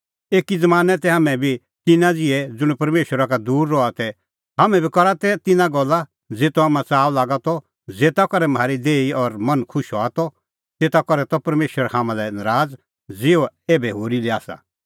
एकी ज़मानैं तै हाम्हैं बी तिन्नां ज़िहै ज़ुंण परमेशरा का दूर रहा तै हाम्हैं बी करा तै तिन्नां गल्ला ज़ेतो हाम्हां च़ाअ लागा त ज़ेता करै म्हारी देही और मन खुश हआ त तेता करै त परमेशर हाम्हां लै नराज़ ज़िहअ एभै होरी लै आसा